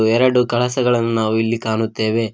ಎರಡು ಗ್ಲಾಸ್ ಗಳನ್ನು ನಾವು ಇಲ್ಲಿ ಕಾಣುತ್ತೇವೆ.